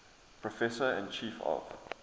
professor and chief of